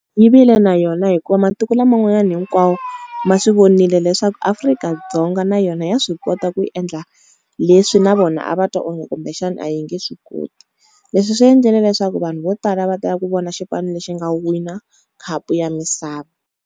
Yi vile na yona hikuva matiko laman'wanyani hinkwawo, ma swi vonile leswaku Afrika-Dzonga na yona ya swi kota ku endla leswi na vona a va twa onge kumbexana a hi nge swi koti. Leswi swi endlele leswaku vanhu vo tala va tela ku vona xipano lexi nga wina khapu ya misava.